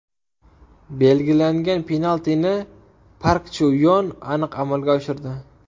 Belgilangan penaltini Park Chu Yon aniq amalga oshirdi.